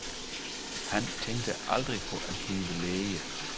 Han tænkte aldrig på at blive læge.